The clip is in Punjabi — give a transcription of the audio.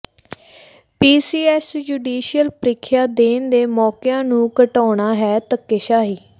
ਪੀਸੀਐੱਸ ਜੁਡੀਸ਼ੀਅਲ ਪ੍ਰਰੀਖਿਆ ਦੇਣ ਦੇ ਮੌਕਿਆਂ ਨੂੰ ਘਟਾਉਣਾ ਹੈ ਧੱਕੇਸ਼ਾਹੀ